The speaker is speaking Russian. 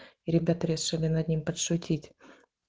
ребята решили над ним пошутить